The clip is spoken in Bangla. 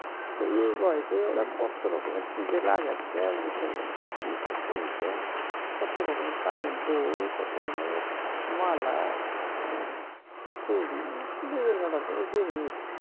তা এই বয়সে ওরা কত রকমের কি যে লাগাচ্ছে মুখের মধ্যে কি সব কিনছে কত রকমের কানের দুল কত রকমের মালা হম চুড়ি বিভিন্ন রকেমের জিনিস